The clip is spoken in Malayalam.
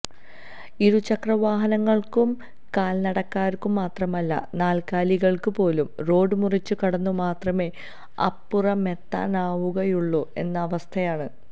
ഇരുച്രക്രവാഹനങ്ങൾക്കും കാൽനടക്കാർക്കും മാത്രമല്ല നാല്കാലികൾക്ക് പോലും റോഡ് മുറിച്ച് കടന്നു മാത്രമേ അപ്പുറമെത്താനാവുകയുള്ളു എന്ന അവസ്ഥയാണ്